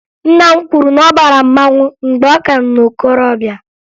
Nna m kwuru na ọ bara mmanwụ mgbe ọ ka nọ na okorobịa